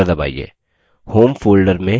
और enter दबाइए